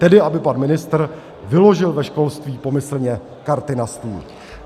Tedy aby pan ministr vyložil ve školství pomyslně karty na stůl.